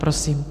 Prosím.